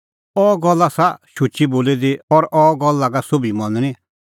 अह गल्ल आसा शुची बोली दी और अह गल्ल लागा सोभी मनणी